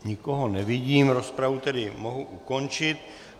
Nikoho nevidím, rozpravu tedy mohu ukončit.